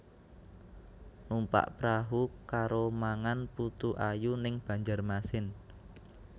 Numpak prahu karo mangan putu ayu ning Banjarmasin